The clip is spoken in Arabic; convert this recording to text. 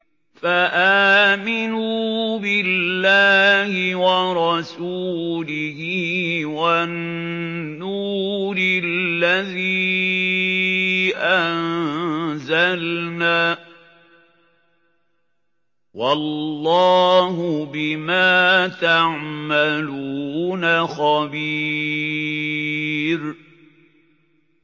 فَآمِنُوا بِاللَّهِ وَرَسُولِهِ وَالنُّورِ الَّذِي أَنزَلْنَا ۚ وَاللَّهُ بِمَا تَعْمَلُونَ خَبِيرٌ